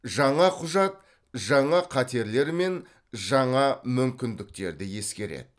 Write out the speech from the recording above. жаңа құжат жаңа қатерлер мен жаңа мүмкіндіктерді ескереді